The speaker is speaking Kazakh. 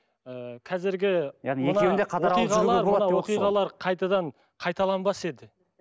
ы қазіргі яғни оқиғалар қайтадан қайталанбас еді